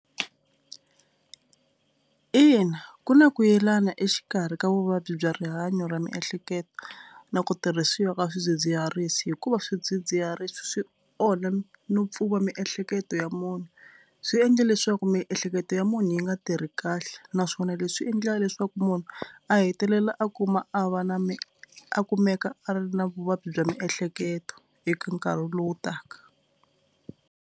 Ina ku na ku yelana exikarhi ka vuvabyi bya rihanyo ra miehleketo na ku tirhisiwa ka swidzidziharisi hikuva swidzidziharisi swi onha no pfuva miehleketo ya munhu. Swi endle leswaku miehleketo ya munhu yi nga tirhi kahle naswona leswi endla leswaku munhu a hetelela a kuma a va na mi a kumeka a ri na vuvabyi bya miehleketo eka nkarhi lowu taka.